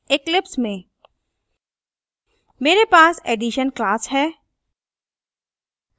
eclipse में मेरे पास addition class है